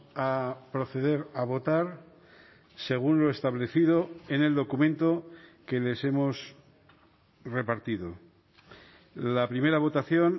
a proceder a votar según lo establecido en el documento que les hemos repartido la primera votación